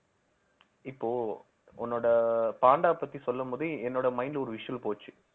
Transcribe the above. இப்போ உன்னோட பாண்டா பத்தி சொல்லும் போதே என்னோட mind ஒரு visual போச்சு